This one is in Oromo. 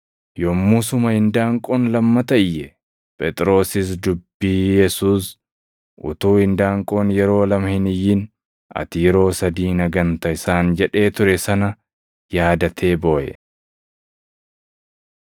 Yommusuma indaanqoon lammata iyye. Phexrosis dubbii Yesuus, “Utuu indaanqoon yeroo lama hin iyyin, ati yeroo sadii na ganta” isaan jedhee ture sana yaadatee booʼe.